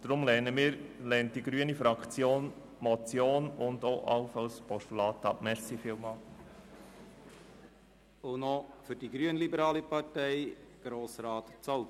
Deshalb lehnt die grüne Fraktion die Motion und allenfalls auch das Postulat ab.